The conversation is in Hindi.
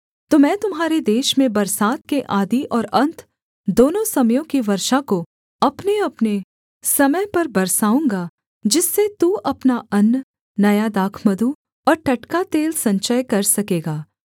तो मैं तुम्हारे देश में बरसात के आदि और अन्त दोनों समयों की वर्षा को अपनेअपने समय पर बरसाऊँगा जिससे तू अपना अन्न नया दाखमधु और टटका तेल संचय कर सकेगा